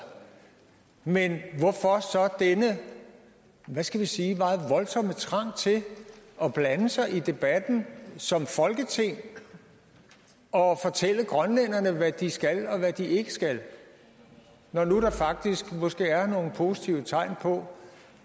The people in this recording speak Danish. men hvorfor så denne hvad skal vi sige meget voldsomme trang til at blande sig i debatten som folketing og fortælle grønlænderne hvad de skal og hvad de ikke skal når nu der faktisk måske er nogle positive tegn på